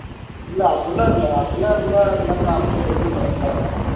இல்ல அப்படியெல்லாம் இல்ல அப்படில்லாம் இருந்தா சொல்லிருக்கமாட்டேனே இந்நேரம்